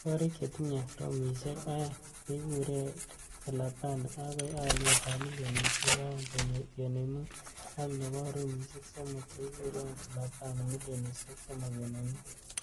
Korik chetinye romishek ae'ng chekiruei kelabani akoi aliet ab milionishek 2.5, ak nebo rumishek somok chekiruei kelabani milionishek 3.5.